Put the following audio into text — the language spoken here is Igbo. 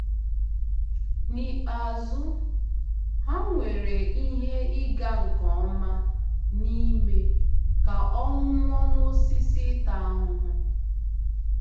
N’ikpeazụ, ha nwere ihe ịga nke ọma n’ime ka ọ nwụọ n’osisi ịta ahụhụ.